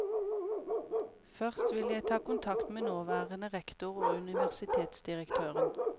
Først vil jeg ta kontakt med nåværende rektor og universitetsdirektøren.